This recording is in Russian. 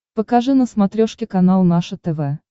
покажи на смотрешке канал наше тв